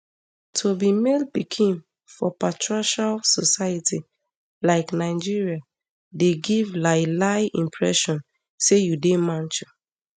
to be male pikin for patriarchal society like nigeria dey give lielie impression say you dey macho